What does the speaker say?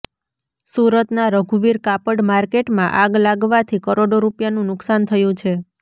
સુરતના રઘુવીર કાપડ માર્કેટમાં આગ લાગવાથી કરોડો રૂપિયાનું નુકસાન થયું છે